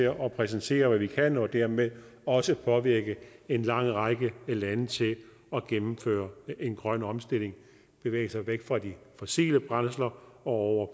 at præsentere hvad vi kan og dermed også påvirke en lang række lande til at gennemføre en grøn omstilling og bevæge sig væk fra de fossile brændsler og over